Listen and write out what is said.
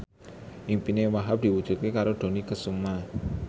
impine Wahhab diwujudke karo Dony Kesuma